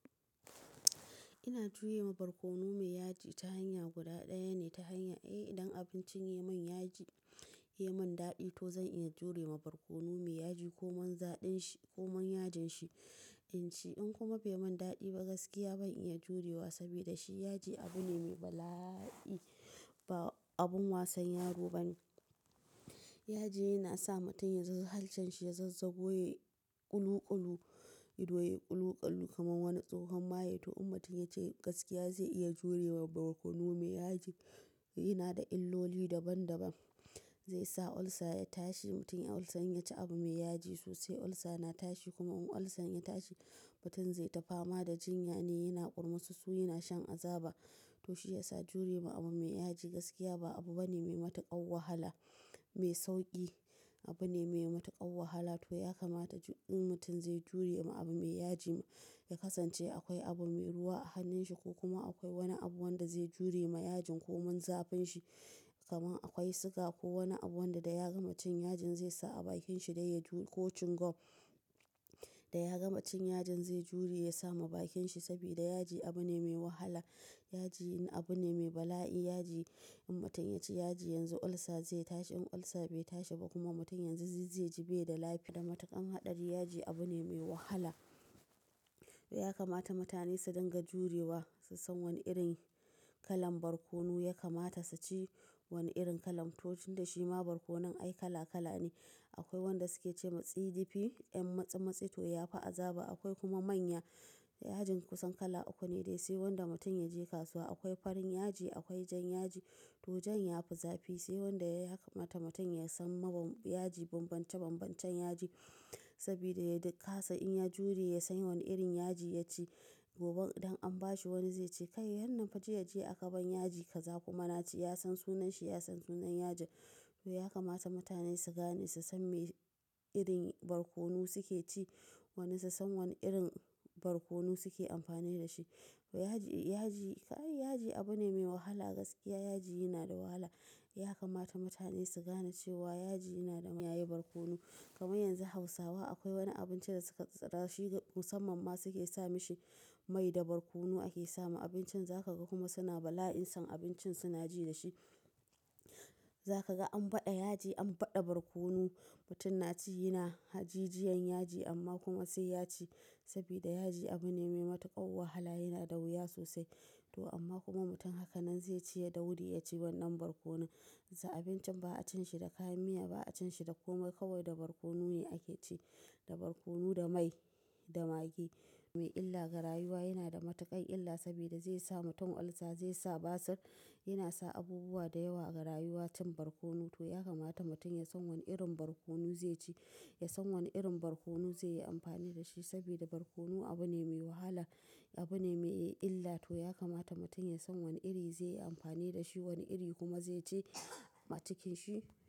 Ina jure ma barkono mai yaji ta hanya guda ɗaya ne, ta hanya eh, idan abincine ya yi min yaji, ya yi min daɗi to zan iya jure wa barkono mai yaji komin zafin shi komin yajin shi in ci. In kuma bai min daɗi ba gaskiya ban iya jure wa saboda shi yaji abu ne mai bala'i, ba abun wasan yaro ba ne. Yaji yana sa mutum ya sa, halchen shi ya zazzago, yayi ƙuluƙulu, ido ya yi ƙuluƙulu kamar wani tsohon maye. To in mutum ya ce gaskiya zai iya jure ma barkono mai yaji, yana da illoli daban daban. Zai sa olsa ya tashi, mutum in olsan ya ci abu mai yaji sosai olsa na tashi kuma in olsan ya tashi mutum zai ta fama da jinya ne yana kurmusu su yana shan azaba. To shi ya sa jure ma abu mai yaji gaskiya ba abu bane mai matuƙar wahala, mai sauƙi. Abu ne mai matuƙar wahala. To ya kamata in mutum zai jure ma abu mai yaji, ya kasance akwai abu mai ruwa a hannun shi ko kuma akwai wani abu wanda zai jure ma yajin komin zafin shi. Kaman akwai siga ko wani abu wanda da ya gama cin yajin zai sa a bakin shi dai ya ji ko cin gwam. Da ya gama cin yajin zai jure ya sa ma bakin shi saboda yaji abu ne mai wahala. Yaji abu ne mai bala'i. Yaji in mutum ya ci yaji yanzu olsa zai tashi. In olsa bai tashi ba kuma mutum yanzu zai ji bai da lafiya. Da matuƙan haɗari yaji abu ne mai wahala. To ya kamata mutane su dinga jure wa, su san wani irin kalan barkono. Ya kamata su ci wani irin kalan. To tun da shima barkono ai kala kala ne. Akwai wanda su ke ce wa tsidifi, yan matsi matsi to ya fi azaba. Akwai kuma manya. Yajin kusan kala uku ne dai. Se wanda mutum yaje kasuwa. Akwai farin yaji, akwai jan yaji to jan ya fi zafi. Sai wanda ya kamata mutum ya san ma yaji bambance bambancen yaji saboda ya kasa in ya jure ya san wane irin yaji ya ci. Gobe idan an ba shi wani zai ce "Kai wannan fa jiya jiya aka ban yaji kaza." Kuma na ci. Yasan sunan shi, yasan sunan yajin. To ya kamata mutane su gane, su san me irin barkono su ke ci. Wani su san wani irin barkono su ke amfani da shi. To yaji, yaji, kai yaji abu ne mai wahala gaskiya yaji yana da wahala. Ya kamata mutane su gane cewa yaji yana da su kiyayi barkono. Kamar yanzu Hausawa akwai wani abinci da suka tsara shine musamman ma su ke sa mishi mai da barkono ake sama abincin. Za ka ga kuma suna bala'in son abincin suna ji da shi. Za ka ga an baɗa yaji, an baɗa barkono. Mutum na ci yana hajijiyan yaji amma kuma sai yaci, sabida yaji abu ne mai matuƙar wahala yana da wuya sosai. To amma kuma mutum hakanan zai ci ya daure ya ci wannan barkonon. Sa abincin ba a cin shi da kayan miya ba a cin shi da komai kawai da barkono ne ake ci. Da barkono, da mai, da maggi. Mai illa ga rayuwa, yanada matuƙar illa sabida zaisa mutum olsa, zaisa basir, yana sa abubuwa dayawa ga rayuwa cin barkono. To ya kamata mutum ya san wane irin barkono zai ci. Ya san wani irin barkono zai yi amfani da shi saboda barkono abu ne mai wahala, abu ne mai illa. To ya kamata mutum ya san wani iri zai yi amfani da shi, wani iri kuma zai ci a cikin shi.